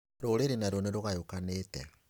Rũrĩrĩ naruo nĩrũgayũkanĩte